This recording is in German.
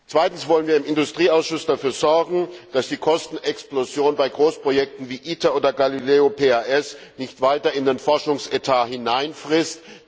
Zweitens wollen wir im Industrieausschuss dafür sorgen, dass sich die Kostenexplosion bei Großprojekten wie ITER oder GALILEO PAS nicht weiter in den Forschungsetat hineinfrisst.